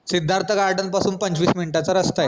Siddharth garden पासून पंचवीस minute चा रस्ता ए